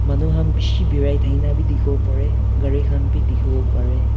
manu khan bisi berai thaki na dekhi bo pare gari khan bhi dekhi bo pare.